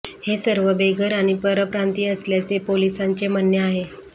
हे सर्व बेघर आणि परप्रांतीय असल्याचे पोलिसांचे म्हणणे आहे